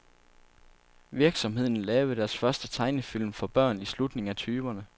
Virksomheden lavede deres første tegnefilm for børn i slutningen af tyverne.